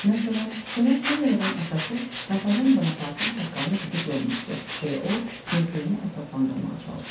Məsələn, cənab Finqerovun atası Napoleon Bonapartın saqqalını didib yolmuşdu, deyə o mövqeyini əsaslandırmağa çalışırdı.